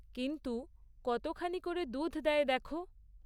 কিন্তু, কতখানি করে দুধ দেয় দেখো!